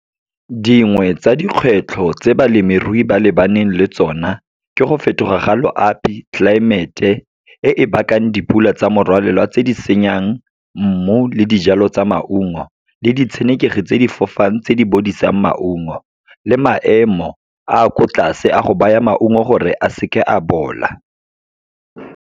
Dingwe tsa dikgwetlho tse balemirui ba lebaneng le tsona, ke go fetoga ga loapi, tlelaemete e e bakang dipula tsa morwalela tse di senyang mmu le dijalo tsa maungo, le ditshenekegi tse di fofang tse di bodisang maungo, le maemo a ko tlase, a go baya maungo gore a seke a bola.